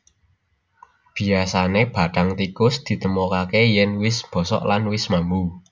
Biyasané bathang tikus ditemokaké yèn wis bosok lan wis mambu